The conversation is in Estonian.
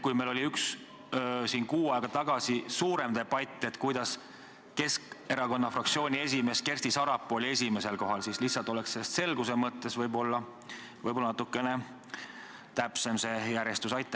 Kui meil oli kuu aega tagasi suurem debatt, kuidas Keskerakonna fraktsiooni esimees Kersti Sarapuu oli küsijana esimesel kohal, siis lihtsalt selguse mõttes võiks natukene täpsem olla see järjestuse kord.